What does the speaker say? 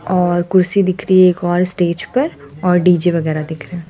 और कुर्सी दिख रही है एक और स्टेज पर और डी_जे वगैरा दिख रा--